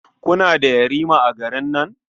Kuna da yarima a garin nan?